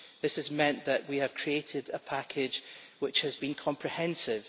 This has meant that we have created a package which has been comprehensive.